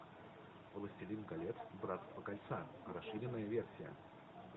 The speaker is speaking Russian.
властелин колец братство кольца расширенная версия